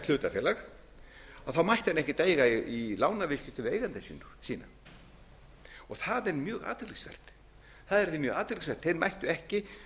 hlutafélag þá mætti hann ekkert eiga í lánaviðskiptum við eigendur sína það er mjög athyglisvert það yrði mjög athyglisvert ári áhættu ekki